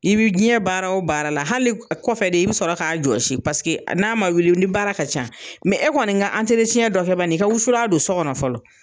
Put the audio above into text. I bɛ jɛn baara o baara la, hali ni a kɔfɛ de, i bi sɔrɔ k'a jɔsi paseke n'a ma wuli ni baara ka ca e kɔni ka dɔ kɛ bani, i ka wusula don so kɔnɔ fɔlɔ.